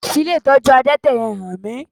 Fi ilé ìtọ́jú adẹ́tẹ̀ yẹn hàn mí!